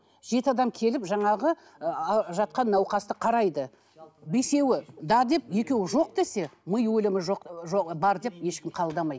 жеті адам келіп жаңағы жатқан науқасты қарайды бесеуі да деп екеуі жоқ десе ми өлімі жоқ бар деп ешкім қабылдамайды